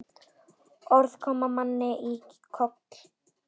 Orð koma manni í koll.